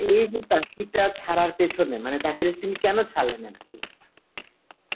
এই যে চাকরিটা ছাড়ার পেছনে মানে চাকরিটা তিনি কেন ছাড়লেন আর কী?